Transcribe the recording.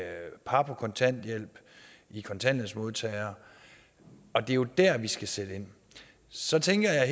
par på kontanthjælp og kontanthjælpsmodtagere det er jo der vi skal sætte ind så tænker jeg